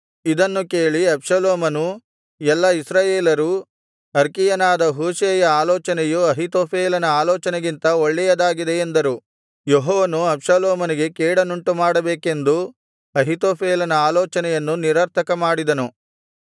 ಇದನ್ನು ಕೇಳಿ ಅಬ್ಷಾಲೋಮನೂ ಎಲ್ಲಾ ಇಸ್ರಾಯೇಲರೂ ಅರ್ಕೀಯನಾದ ಹೂಷೈಯ ಆಲೋಚನೆಯು ಅಹೀತೋಫೇಲನ ಆಲೋಚನೆಗಿಂತ ಒಳ್ಳೆಯದಾಗಿದೆ ಎಂದರು ಯೆಹೋವನು ಅಬ್ಷಾಲೋಮನಿಗೆ ಕೇಡನ್ನುಂಟುಮಾಡಬೇಕೆಂದು ಅಹೀತೋಫೇಲನ ಆಲೋಚನೆಯನ್ನು ನಿರರ್ಥಕಮಾಡಿದನು